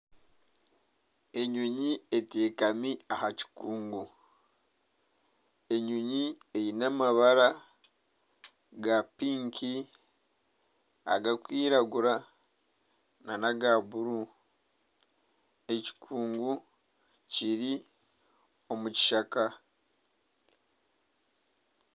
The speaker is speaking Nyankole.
Enyonyi etekami aha kikungu enyonyi eine amabara aga pinki agarikwiragira nana aga bururu ekikungu kiri omukishaka